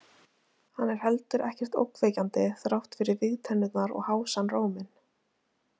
Hann er heldur ekkert ógnvekjandi þrátt fyrir vígtennurnar og hásan róminn.